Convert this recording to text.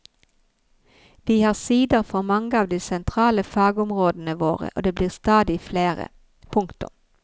Vi har sider for mange av de sentrale fagområdene våre og det blir stadig flere. punktum